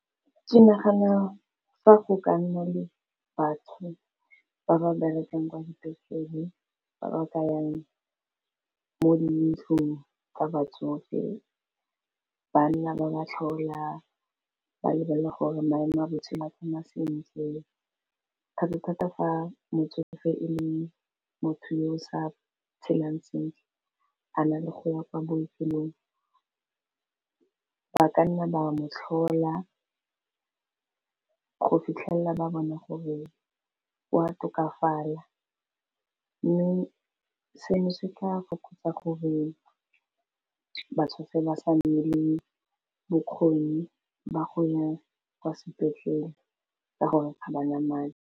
Ke nagana fa go ka nna le batho ba ba berekang kwa dipetlele ba ba ka yang mo dintlong tsa batsofe, banna ba ba tlhola ba lebelela gore maemo a botshelo a tsamaya sentle, thata-thata fa motseng e le motho yo o sa phelang sentle a na le go ya kwa bookelong ba ka nna ba mo tlhola go fitlhelela ba bona gore wa tokafala, mme seno se tla fokotsa gore batsofe ba sa nne le bokgoni ba go ya kwa sepetlele ka gore ga ba na madi.